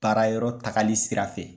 Baarayɔrɔ tagali sira fɛ.